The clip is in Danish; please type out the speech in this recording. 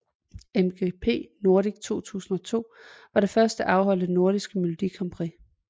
MGP Nordic 2002 var det først afholdte Nordiske Melodi Grand Prix